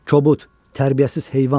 Kobud, tərbiyəsiz heyvan!